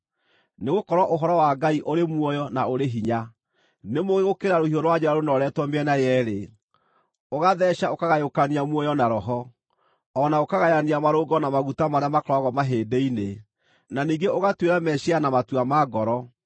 Nĩgũkorwo ũhoro wa Ngai ũrĩ muoyo na ũrĩ hinya. Nĩ mũũgĩ gũkĩra rũhiũ rwa njora rũnooretwo mĩena yeerĩ, ũgatheeca ũkagayũkania muoyo na roho, o na ũkagayania marũngo na maguta marĩa makoragwo mahĩndĩ-inĩ, na ningĩ ũgatuĩra meciiria na matua ma ngoro.